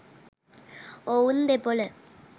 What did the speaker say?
ඔවුන් දෙපොල